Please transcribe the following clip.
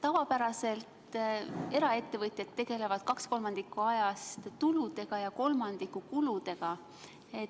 Tavapäraselt tegelevad eraettevõtjad kaks kolmandikku ajast tuludega ja kolmandiku kuludega.